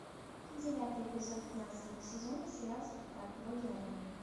девятый эпизод пятнадцатого сезона сериал спартак боги арены